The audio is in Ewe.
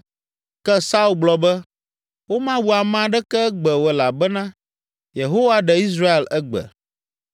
Ke Saul gblɔ be, “Womawu ame aɖeke egbe o elabena Yehowa ɖe Israel egbe!”